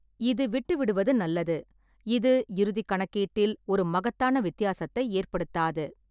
இது விட்டுவிடுவது நல்லது; இது இறுதி கணக்கீட்டில் ஒரு மகத்தான வித்தியாசத்தை ஏற்படுத்தாது.